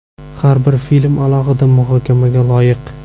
Har bir film alohida muhokamaga loyiq.